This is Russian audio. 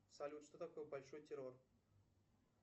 салют что такое большой террор